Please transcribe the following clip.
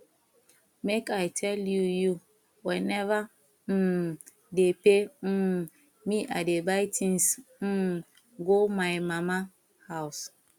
make i tell you you whenever um dey pay um me i dey buy things um go my mama house